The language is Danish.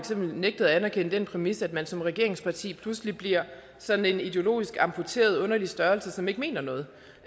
har nægtet at anerkende den præmis at man som regeringsparti pludselig bliver sådan en ideologisk amputeret underlig størrelse som ikke mener noget